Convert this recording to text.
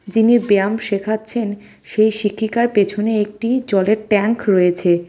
যিনি ব্যায়াম শিখাচ্ছেন সেই শিক্ষিকার পেছনে একটি জলের ট্যাঙ্ক রয়েছে .